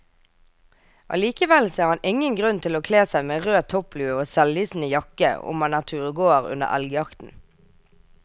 Allikevel ser han ingen grunn til å kle seg med rød topplue og selvlysende jakke om man er turgåer under elgjakten.